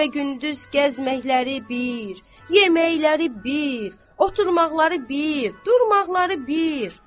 Gecə və gündüz gəzməkləri bir, yeməkləri bir, oturmaqları bir, durmaqları bir.